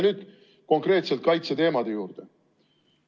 Nüüd konkreetselt kaitseteemade juurde.